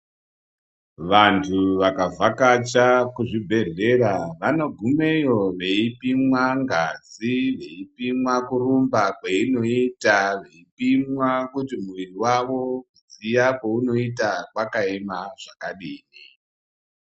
Vantu vakavhakacha kuzvibhedhlera vanogumeyo veipimwa ngazi veipimwa kurumba kwainoita veipimwa muvuri wavo ziya kwaunoita wakaema zvakadini.